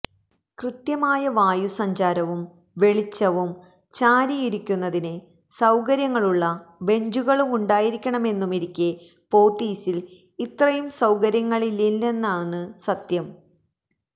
കൃത്യമായ വായു സഞ്ചാരവും വെളിച്ചവും ചാരിയിരിക്കുന്നതിന് സൌകര്യങ്ങളുള്ള ബെഞ്ചുകളുണ്ടായിരിക്കണമെന്നുമിരിക്കെ പോത്തീസിൽ ഇത്രയും സൌകര്യങ്ങളില്ലെന്നതാണ് സത്യം